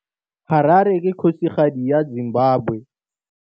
Harare ke kgosigadi ya Zimbabwe.